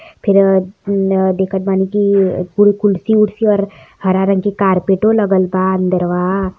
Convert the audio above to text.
फिर अ देखत बानी की कुल कुर्सी ऊर्सी और हरा रंग के कार्पेटो लगल बा अंदरवा।